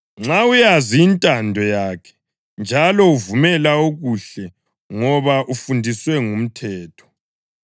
nxa uyazi intando yakhe njalo uvumela okuhle ngoba ufundiswe ngumthetho;